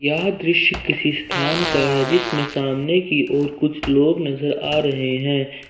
यह दृश्य किसी स्थान का है जिसमें सामने की ओर कुछ लोग नजर आ रहे हैं।